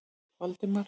Valdemar